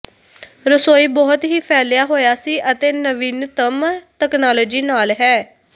ਰਸੋਈ ਬਹੁਤ ਹੀ ਫੈਲਿਆ ਹੋਇਆ ਸੀ ਅਤੇ ਨਵੀਨਤਮ ਤਕਨਾਲੋਜੀ ਨਾਲ ਹੈ